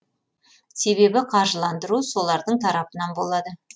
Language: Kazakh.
себебі қаржыландыру солардың тарапынан болады